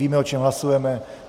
Víme, o čem hlasujeme.